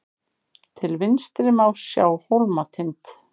til vinstri má sjá hólmatind